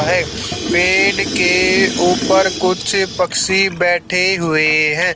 है पेड़ के ऊपर कुछ पक्षी बैठे हुए हैं।